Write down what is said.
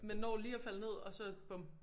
man når lige at falde ned og så bum